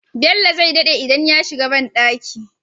Bello zai daɗe idan ya shiga banɗaki